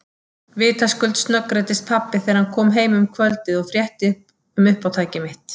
Vitaskuld snöggreiddist pabbi þegar hann kom heim um kvöldið og frétti um uppátæki mitt.